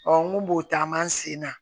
n ko b'o taama an sen na